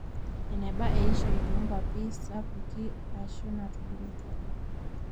eneba eishoi toonkuapi sapuki aashu naatubulutua